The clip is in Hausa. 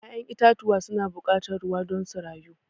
ya'yan itatuwa su na buƙatan ruwa don su rayu.